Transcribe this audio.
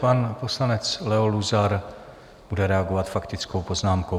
Pan poslanec Leo Luzar bude reagovat faktickou poznámkou.